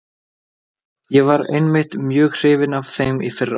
Ég var einmitt mjög hrifinn af þeim í fyrra.